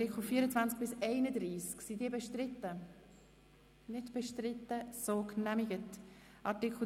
Der Artikel 35 wird seitens der Grünen bestritten;